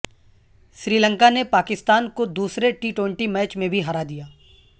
سری لنکا نے پاکستان کو دوسرے ٹی ٹوئنٹی میچ میں بھی ہرا دیا